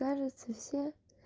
кажется все